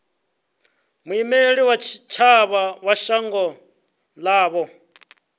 muimeli wa tshitshavha wa shango ḽavho